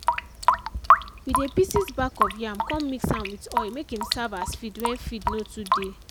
we dey pieces bark of yam con mix am with oil make im serve as feed wen feed no too dey.